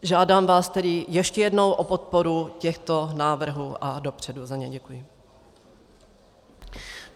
Žádám vás tedy ještě jednou o podporu těchto návrhů a dopředu za ně děkuji.